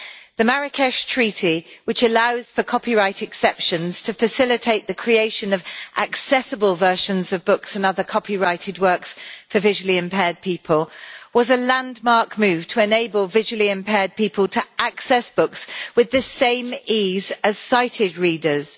The Marrakech Treaty, which allows for copyright exceptions to facilitate the creation of accessible versions of books and other copyrighted works for visually impaired people, was a landmark move to enable visually impaired people to access books with the same ease as sighted readers.